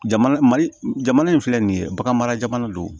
Jamana mali jamana in filɛ nin ye bagan mara jamana do